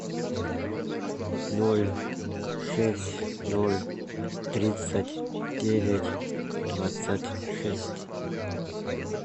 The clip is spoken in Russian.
ноль шесть ноль тридцать девять двадцать шесть